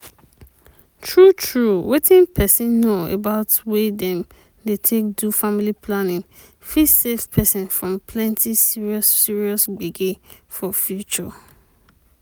true true wetin peson know about way dem dey take do family planning fit save peson from plenty serious serious gbege for future.